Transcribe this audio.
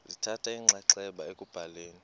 lithatha inxaxheba ekubhaleni